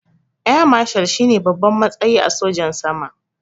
Eya mashal shine babban matsayi a sojan sama